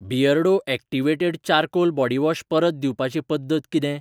Beardo activated charcoal body wash परत दिवपाची पद्दत किदें?